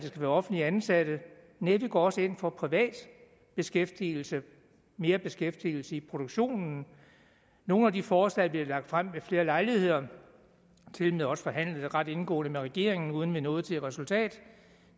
skal være offentligt ansatte nej vi går også ind for privat beskæftigelse mere beskæftigelse i produktionen nogle af de forslag vi har lagt frem ved flere lejligheder og tilmed også forhandlet ret indgående med regeringen uden vi nåede til et resultat